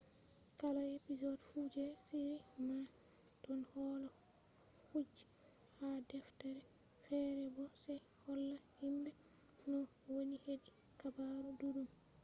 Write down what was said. kala episod fu je shiri man don holla kuje ha deftere fere bo se holla himbe no woni hedi habaru duddum